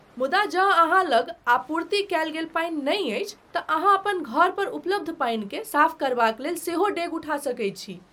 मुदा जँ अहाँ लग आपूर्ति कयल गेल पानि नहि अछि तँ अहाँ अपन घर पर उपलब्ध पानिकेँ साफ करबाक लेल सेहो डेग उठा सकैत छी।